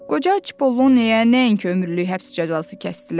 Qoca Çipolloneyə nəinki ömürlük həbs cəzası kəsdilər.